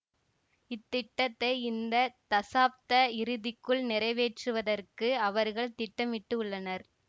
இத்திட்டத்தை இந்த தசாப்த இறுதிக்குள் நிறைவேற்றுவதற்கு அவர்கள் திட்டமிட்டுள்ளனர்